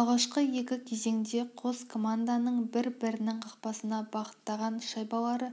алғашқы екі кезеңде қос команданың бір-бірінің қақпасына бағыттаған шайбалары